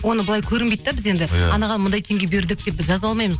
оны былай көрінбейді де біз енді анаған мынандай теңге бердік деп жаза алмаймыз